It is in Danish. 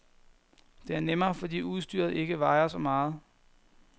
Det er nemmere, fordi udstyret ikke vejer så meget.